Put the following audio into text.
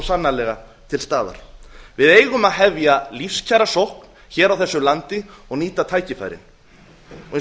sannarlega til staðar við eigum að hefja lífskjarasókn hér á þessu landi og nýta tækifærin eins og